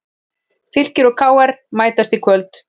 Fylkir og KR mætast í kvöld